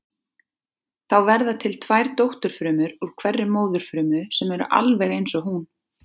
Þá verða til tvær dótturfrumur úr hverri móðurfrumu sem eru alveg eins og hún.